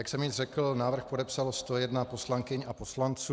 Jak jsem již řekl, návrh podepsalo 101 poslankyň a poslanců.